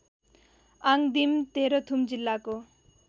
आङदिम तेह्रथुम जिल्लाको